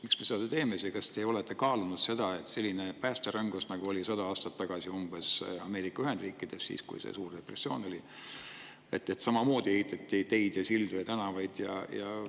Miks me seda teeme ja kas te olete kaalunud seda, et selline päästerõngas nagu umbes sada aastat tagasi Ameerika Ühendriikides, kui oli suur depressioon ning ehitati teid ja sildu ja tänavaid?